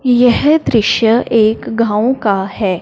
यह दृश्य एक गांव का है।